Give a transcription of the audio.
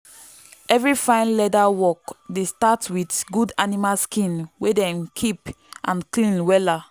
every fine leather work dey start with good animal skin wey dem keep and clean wella.